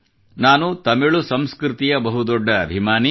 ನಾನು ತಮಿಳು ಸಂಸ್ಕೃತಿಯ ಬಹು ದೊಡ್ಡ ಅಭಿಮಾನಿ